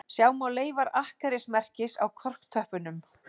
Sjá má leifar akkerismerkis á korktöppunum